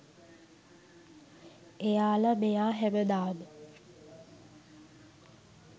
එයාල මෙයා හැමදාම